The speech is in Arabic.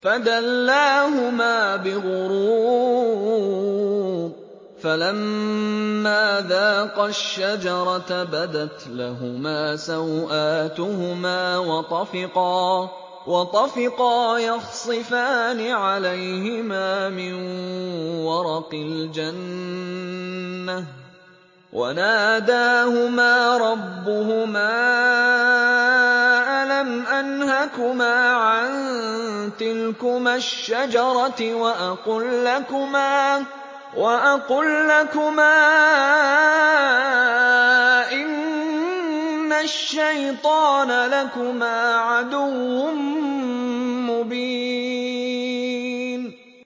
فَدَلَّاهُمَا بِغُرُورٍ ۚ فَلَمَّا ذَاقَا الشَّجَرَةَ بَدَتْ لَهُمَا سَوْآتُهُمَا وَطَفِقَا يَخْصِفَانِ عَلَيْهِمَا مِن وَرَقِ الْجَنَّةِ ۖ وَنَادَاهُمَا رَبُّهُمَا أَلَمْ أَنْهَكُمَا عَن تِلْكُمَا الشَّجَرَةِ وَأَقُل لَّكُمَا إِنَّ الشَّيْطَانَ لَكُمَا عَدُوٌّ مُّبِينٌ